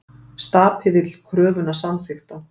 Stapi vill kröfuna samþykkta